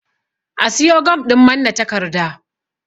A siyo gam ɗin manne takarda